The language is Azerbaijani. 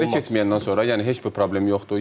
Təhqirə keçməyəndən sonra, yəni heç bir problem yoxdur.